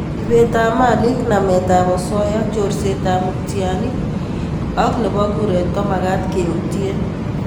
ipet ap Malik, namet ap osoya, chorset ap mutianik an ko nepo kuret komakat keutie